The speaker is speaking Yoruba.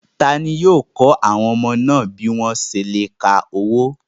Ta ni yóò kọ́ àwọn ọmọ náà bí wọ́n ṣé ń ka owó?